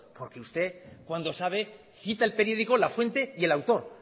porque usted cuando sabe cita el periódico la fuente y el autor